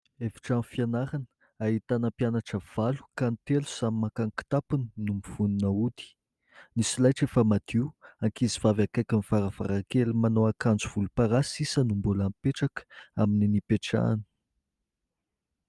Efitrano fianarana ahitana mpianatra valo ka ny telo samy maka ny kitapony no mivonona hody. Ny solaitra efa madio. Ankizivavy akaikin'ny varavarankely manao akanjo volomparasy sisa no mbola mipetraka amin'ny nipetrahany.